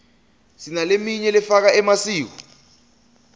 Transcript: sinaleminy lefaka emasiko